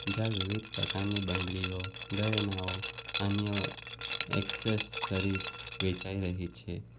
જ્યાં વિવિધ પ્રકારની બંગડીઓ ઘરેણાંઓ અન્ય એક્સેસરીઝ વેચાઈ રહી છે.